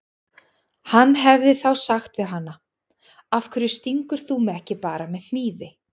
Hann hefði þá sagt við hana: Af hverju stingur þú mig ekki bara með hnífi?